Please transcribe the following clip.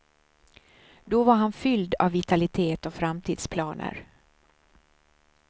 Då var han fylld av vitalitet och framtidsplaner.